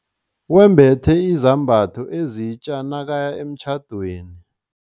Wembethe izambatho ezitja nakaya emtjhadweni.